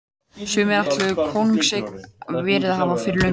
Sumir ætla það kóngseign verið hafa fyrir löngu.